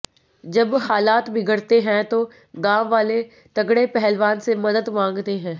जब हालात बिगड़ते हैं तो गांववाले तगड़े पहलवान से मदद मांगते हैं